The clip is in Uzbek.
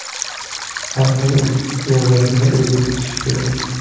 Har kim o‘z ro‘zasini o‘zi tutishi kerak.